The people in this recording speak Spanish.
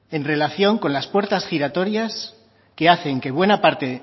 en relación con las puertas giratorias que hacen que buena parte